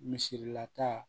Misila ta